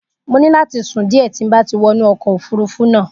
Mo ní láti sùn díẹ̀ tí n bá ti wọnú ọkọ̀ òfurufú náà.